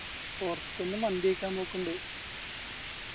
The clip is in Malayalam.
പോർത്തുന്ന് മന്തി കയ്ക്കാൻ നോക്ക്ണ്ട്